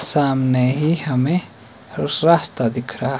सामने ही हमें रुस रास्ता दिख रहा--